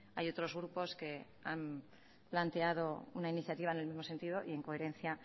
hay otros grupos que han planteado una iniciativa en el mismo sentido y en coherencia